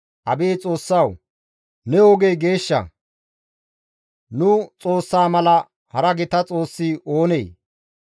Abeet Xoossawu! Ne ogey geeshsha; nu Xoossaa mala hara gita xoossi oonee?